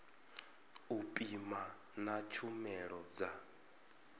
u pima na tshumelo dza